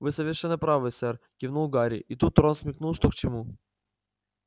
вы совершенно правы сэр кивнул гарри и тут рон смекнул что к чему